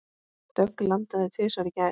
Dögg landaði tvisvar í gær.